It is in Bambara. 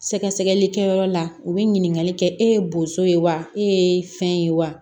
Sɛgɛsɛgɛli kɛyɔrɔ la u bɛ ɲininkali kɛ e ye boso ye wa e ye fɛn ye wa